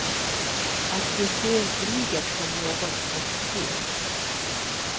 Att de ser kriget som något obscent.